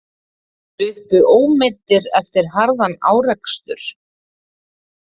Sluppu ómeiddir eftir harðan árekstur